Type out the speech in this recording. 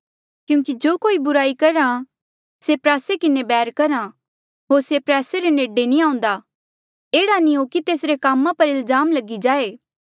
क्यूंकि जो कोई बुराई करहा से प्रयासे किन्हें बैर करहा होर से प्रयासे रे नेडे नी आऊंदा एह्ड़ा नी हो कि तेसरे कामा पर इल्जाम लगी जाए